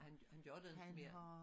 Han han gør det ikke mere